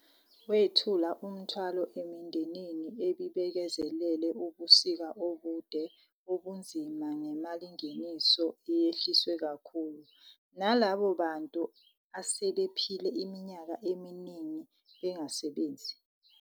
.wethula umthwalo emindenini ebibekezelele ubusika obude obunzima ngemalingeniso eyehliswe kakhulu, nalabo bantu asebephile iminyaka eminingi bengasebenzi.